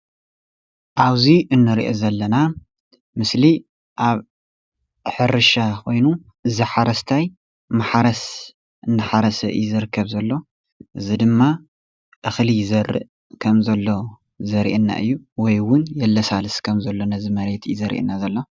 እዚ ምስሊ ሓረስታይ መሬቱ እናሓረሰ ዘርኢ እዩ።